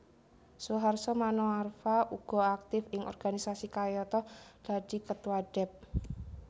Suharso Manoarfa uga aktif ing organisasi kayata dadi Ketua Dep